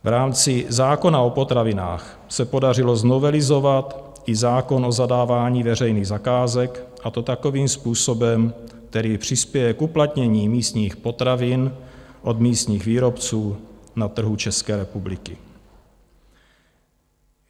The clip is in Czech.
V rámci zákona o potravinách se podařilo novelizovat i zákon o zadávání veřejných zakázek, a to takovým způsobem, který přispěje k uplatnění místních potravin od místních výrobců na trhu České republiky.